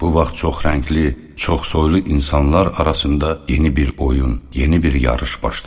Bu vaxt çox rəngli, çox soylu insanlar arasında yeni bir oyun, yeni bir yarış başladı.